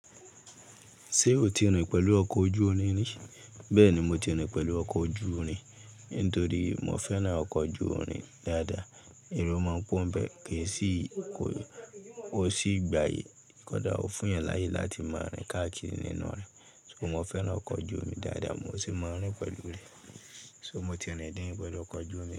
Ṣé o ti rìn pẹ̀lú ọkọ̀ ojú-irin ní? Bẹ́ẹ̀ni, mo ti rìn pẹ̀lú ọkọ̀ ojú-irin, nítorí mo fẹ́ràn ọkọ̀ ojú-irin dáadáa. Ero máa n pọ́ n bẹ́ẹ̀ kì í sì, ko n sì gbaye, kódà ó fún èèyàn láyè láti máa rìn káàkiri nínú rẹ̀. So mo fẹ́ràn ọkọ̀ ojú-omi dáadáa, mo sì máa ń rìn pẹ̀lú rẹ̀. So mo ti rìn dín pẹlu ọkọ̀ ojú-omi.